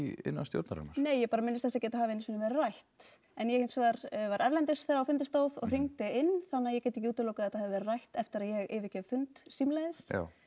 innan stjórnarinnar nei ég bara minnist þessi ekki að þetta hafi einu sinni verið rætt en ég hins vegar var erlendis þegar á fundi stóð og hringdi inn þannig að ég get ekki útilokað að þetta hafi verið rætt eftir að ég yfirgef fund símleiðis